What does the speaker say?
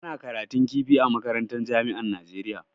Ana karatun kifi a makarantan jami'an Najeriya.